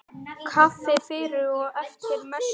Kaffi fyrir og eftir messu.